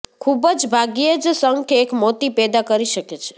ખૂબ જ ભાગ્યે જ શંખ એક મોતી પેદા કરી શકે છે